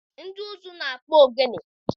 Ndị ụzụ na-akpụ ogene.